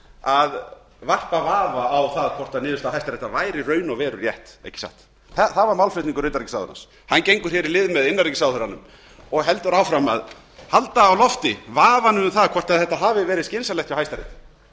að varpa vafa á það hvort niðurstaða hæstaréttar væri í raun og veru rétt ekki satt það var málflutningur utanríkisráðherrans hann gengur í lið með innanríkisráðherranum og heldur áfram að halda á lofti vafanum um það hvort þetta hafi verið skynsamlegt hjá